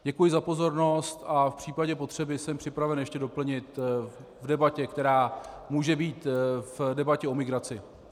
Děkuji za pozornost a v případě potřeby jsem připraven ještě doplnit v debatě, která může být - v debatě o migraci.